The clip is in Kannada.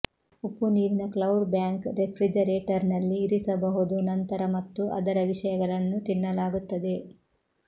ಉಪ್ಪುನೀರಿನ ಕ್ಲೌಡ್ ಬ್ಯಾಂಕ್ ರೆಫ್ರಿಜರೇಟರ್ನಲ್ಲಿ ಇರಿಸಬಹುದು ನಂತರ ಮತ್ತು ಅದರ ವಿಷಯಗಳನ್ನು ತಿನ್ನಲಾಗುತ್ತದೆ